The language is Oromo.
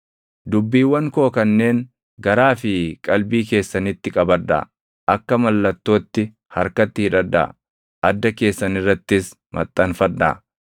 Dubbiiwwan koo kanneen garaa fi qalbii keessanitti qabadhaa; akka mallattootti harkatti hidhadhaa; adda keessan irrattis maxxanfadhaa.